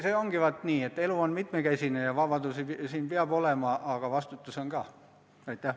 See ongi nii, et elu on mitmekesine ja vabadusi peab olema, aga on ka vastutus.